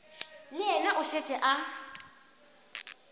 le yena o šetše a